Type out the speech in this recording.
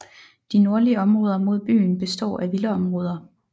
De nordlige områder mod byen består af villaområder